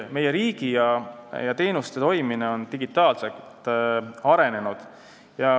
Meie riigi ja teenuste toimimine on digitaalselt arenenud.